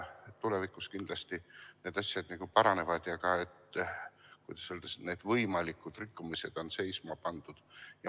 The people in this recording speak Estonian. Tulevikus kindlasti need asjad paranevad ja, kuidas öelda, võimalikud rikkumised on seisma pandud.